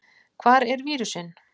Hvar er vírusinn?